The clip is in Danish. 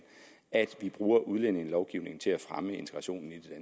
at vi bruger udlændingelovgivningen til at fremme integrationen i det